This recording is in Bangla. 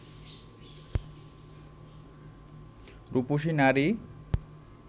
রুপসী নারী